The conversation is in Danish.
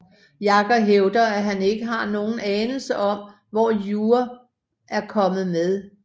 Jagger hævder at han ikke har nogen anelse om hvor You er kommet med